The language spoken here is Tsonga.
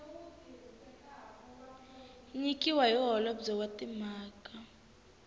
nyikiwaka hi holobye wa timhaka